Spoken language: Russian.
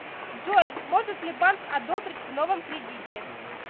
джой может ли банк одобрить в новом кредите